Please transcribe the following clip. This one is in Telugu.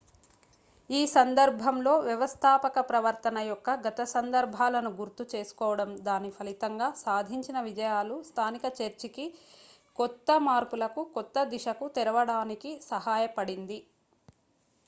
ఈ సందర్భంలో వ్యవస్థాపక ప్రవర్తన యొక్క గత సందర్భాలను గుర్తు చేసుకోవడం దాని ఫలితంగా సాధించిన విజయాలు స్థానిక చర్చికి కొత్త మార్పులకు కొత్త దిశకు తెరవడానికి సహాయపడింది